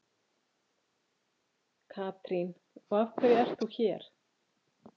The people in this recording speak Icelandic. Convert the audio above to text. Katrín: Og af hverju ert þú hér?